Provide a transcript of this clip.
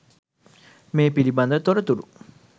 මේ පිළිබඳ තොරතුරු